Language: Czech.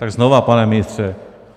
Tak znovu, pane ministře.